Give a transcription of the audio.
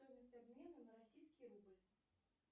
стоимость обмена на российский рубль